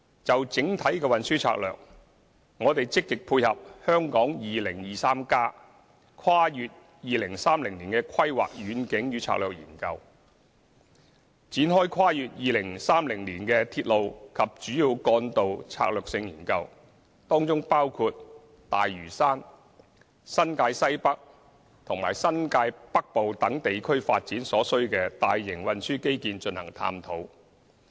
就整體的運輸策略，我們積極配合《香港 2030+： 跨越2030年的規劃遠景與策略》研究，展開跨越2030年的鐵路及主要幹道策略性研究，當中包括對大嶼山、新界西北和新界北部等地區發展所需的大型運輸基建，進行探討。